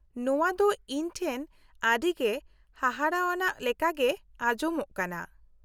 -ᱱᱚᱣᱟ ᱫᱚ ᱤᱧ ᱴᱷᱮᱱ ᱟᱹᱰᱤᱜᱮ ᱦᱟᱦᱟᱲᱟᱣᱟᱱᱟᱜ ᱞᱮᱠᱟᱜᱮ ᱟᱡᱚᱢᱚᱜ ᱠᱟᱱᱟ ᱾